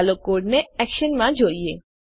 ચાલો કોડને એક્શનમાં જોઈએ